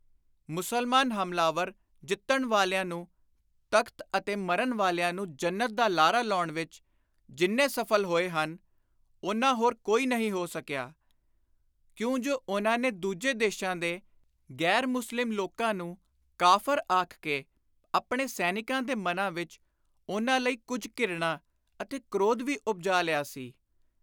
ਮੁਸਲਮਾਨ ਹਮਲਾਵਰ ਜਿੱਤਣ ਵਾਲਿਆਂ ਨੂੰ ਤਖ਼ਤ ਅਤੇ ਮਰਨ ਵਾਲਿਆਂ ਨੂੰ ਜੰਨਤ ਦਾ ਲਾਰਾ ਲਾਉਣ ਵਿਚ ਜਿੰਨੇ ਸਫਲ ਹੋਏ ਹਨ ਓਨਾ ਹੋਰ ਕੋਈ ਨਹੀਂ ਹੋ ਸਕਿਆ, ਕਿਉਂ ਜੁ ਉਨ੍ਹਾਂ ਨੇ ਦੂਜੇ ਦੇਸ਼ਾਂ ਦੇ ਗ਼ੈਰ-ਮੁਸਲਿਮ ਲੋਕਾਂ ਨੂੰ ਕਾਫ਼ਰ ਆਖ ਕੇ ਆਪਣੇ ਸੈਨਿਕਾਂ ਦੇ ਮਨਾਂ ਵਿਚ ਉਨ੍ਹਾਂ ਲਈ ਕੁਝ ਘਿਰਣਾ ਅਤੇ ਕ੍ਰੋਧ ਵੀ ਉਪਜਾ ਲਿਆ ਸੀ।